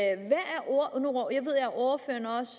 ordføreren også